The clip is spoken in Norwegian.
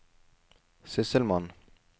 sysselmann